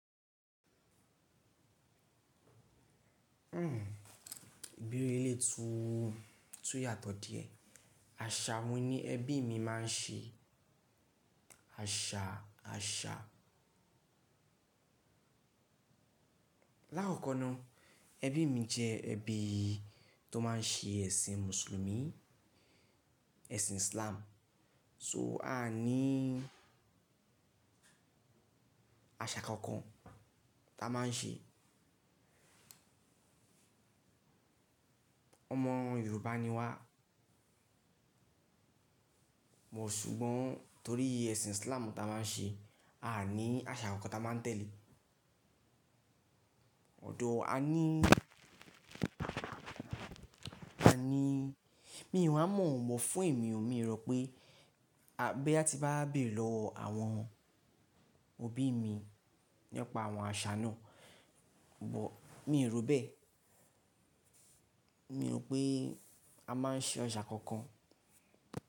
Hmm. Ìbere elé tú, tú yàtọ̀ díẹ̀. Àṣà wo ni ẹbí mi máa ń ṣe àṣà, àṣà? Láàkọ́kọ́ náà, ẹbí mi jẹ́ ẹbí tó máa ń ṣe ẹ̀sìn Mùsùlùmí, ẹ̀sìn Islam. So a ní àṣà kankan tá a máa ń ṣe. Ọmọ Yorùbá ni wá, bọ̀ ṣùgbọ́n torí ẹ̀sìn Islam tá a máa ń ṣe, a ní àṣà kankan tá a máa ń tẹ̀lé. Ọ̀dọ̀ a ní, a ní-- mi ò wa mọ̀ mọ́ fún èmi o. Mi rò pé a boya-- tí bá bèrè lọ àwọn òbí mi nípa àwọn àṣà náà, bọ̀ mi rò bẹ́ẹ̀. Mi rò pé a máa ń ṣe àṣà kankan.